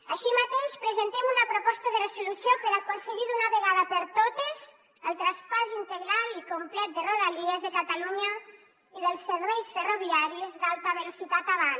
així mateix presentem una proposta de resolució per aconseguir d’una vegada per totes el traspàs integral i complet de rodalies de catalunya i dels serveis ferroviaris d’alta velocitat avant